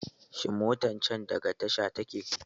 Shin motan can daga tasha take!